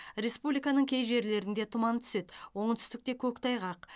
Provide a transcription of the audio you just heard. республиканың кей жерлерінде тұман түседі оңтүстікте көктайғақ